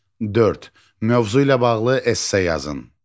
Dörd, mövzu ilə bağlı esse yazın.